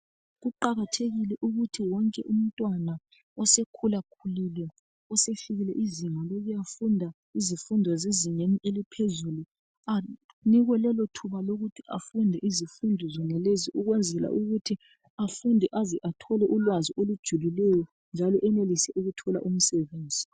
Kuqakathekile ukuthi wonke umntwana osekhula khulile osefikile izinga lokuyafunda izifundo zezingeni eliphezulu .Anikwe lelo thuba lokuthi afunde izifundo zonalezi ukwenzela ukuthi afunde aze athole ulwazi olujulileyo .Njalo enelise ukuthola umsebenzi .